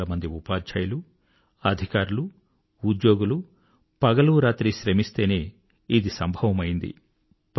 లక్షల మంది ఉపాధ్యాయులు అధికారులు ఉద్యోగులు పగలూ రాత్రి శ్రమిస్తేనే ఇది సంభవమైంది